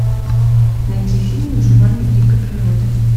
найти фильм выживание в дикой природе